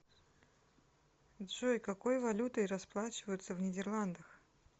джой какой валютой расплачиваются в нидерландах